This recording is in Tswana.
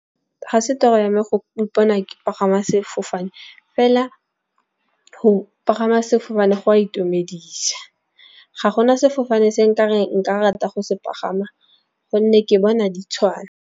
Ga se toto yame go ipona ke pagama sefofane, fela go pagama sefofane go a itumedisa. Ga gona sefofane se nka reng nka rata go se pagama, gonne ke bona di tshwana.